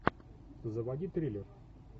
заводи триллер